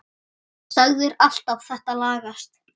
Sagðir alltaf þetta lagast.